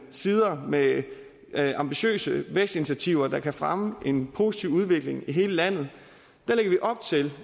sider med ambitiøse vækstinitiativer der kan fremme en positiv udvikling i hele landet lægger vi op til